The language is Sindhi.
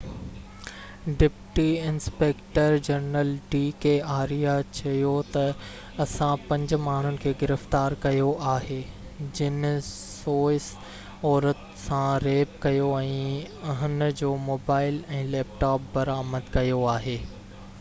deputy inspector general D K Arya چيو ته اسان پنج ماڻهن کي گرفتار ڪيو آهي جن سوئس عورت سان ريپ ڪيو ۽ هن جو موبائيل ۽ ليپ ٽاپ برآمد ڪيو آهي